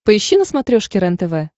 поищи на смотрешке рентв